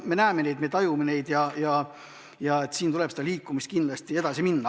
Me näeme neid, me tajume neid ja siin tuleb kindlasti edasi liikuda.